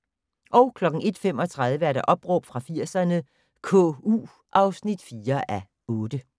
01:35: Opråb fra 80'erne - KU (4:8)